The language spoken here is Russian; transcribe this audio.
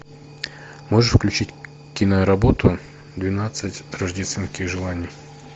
можешь включить киноработу двенадцать рождественских желаний